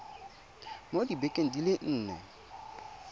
mo dibekeng di le nne